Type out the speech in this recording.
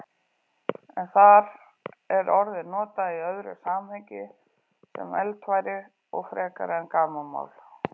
En þar er orðið notað í öðru samhengi, sem eldfæri frekar en gamanmál.